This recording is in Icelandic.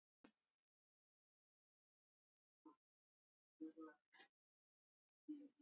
Stillir henni upp við vegg.